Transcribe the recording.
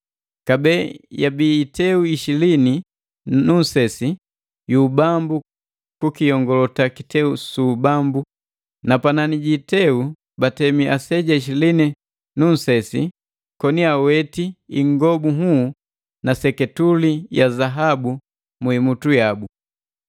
Kabee yabii iteu ishilini na nunsesi yu ubambu kukiyongalota kiteu su ubambu, na panani ji iteu batemi aseja ishilini na nu nsesi koni aweti ingobu nhuu na seketuli ya zaabu mu imutu yabu.